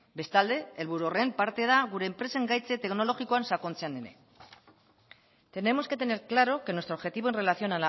bestalde helburu horren parte da gure enpresen gaitze teknologikoan sakontzean ere tenemos que tener claro que nuestro objetivo en relación